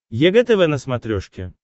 егэ тв на смотрешке